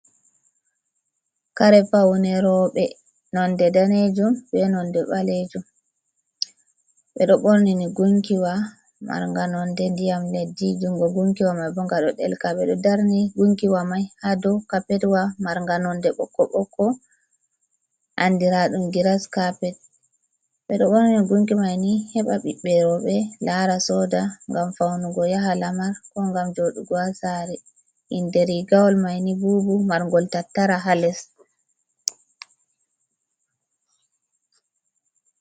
Karepaune robe nonde danejum be nonde balejum bedo bornini gunkiwa maranga nonde diyam leddi jungo gunkiwa mai bongado delka be do darni gunkiwa mai ha do kapetwa maranga nonde bokko bokko andiradum gira skapet bedo bornini gunki maini heba bibberobe lara soda gam faunugo yaha lamar ko gam jodugo asari inderi gawal maini bubu marngol tattara ha les.